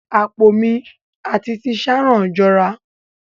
Apó mi at ti Sharon jọra.